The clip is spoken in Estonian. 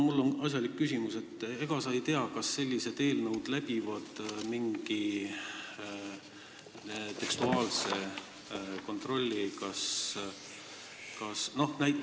Mul on asjalik küsimus: ega sa ei tea, kas sellised eelnõud läbivad mingi tekstuaalse kontrolli?